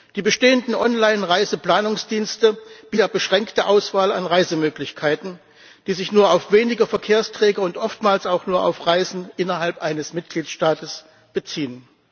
Die bestehenden Online Reiseplanungsdienste bieten meist nur eine sehr beschränkte Auswahl an Reisemöglichkeiten, die sich nur auf wenige Verkehrsträger und oftmals auch nur auf Reisen innerhalb eines Mitgliedstaates beziehen.